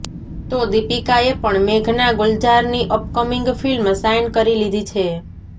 તો દીપિકાએ પણ મેઘના ગુલઝારની અપકમિંગ ફિલ્મ સાઇન કરી લીધી છે